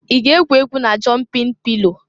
I ga-egwu egwu na jọmpin pilo?